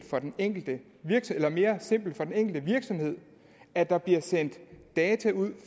for den enkelte virksomhed at der bliver sendt data ud